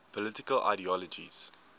political ideologies